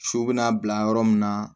So bɛna bila yɔrɔ min na